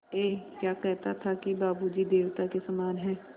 ऐं क्या कहता था कि बाबू जी देवता के समान हैं